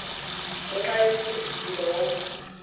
ngenxa yomfundisi lowo